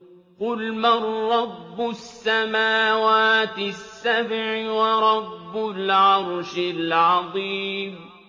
قُلْ مَن رَّبُّ السَّمَاوَاتِ السَّبْعِ وَرَبُّ الْعَرْشِ الْعَظِيمِ